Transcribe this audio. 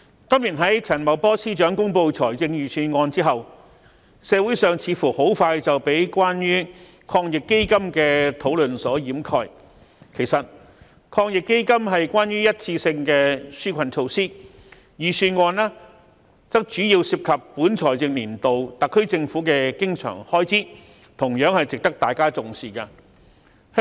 主席，陳茂波司長公布本年度財政預算案後，社會上似乎很快便被關於防疫抗疫基金的討論所掩蓋，其實抗疫基金是一次性紓困措施，預算案則主要涉及本財政年度特區政府的經常開支，同樣值得大家重視。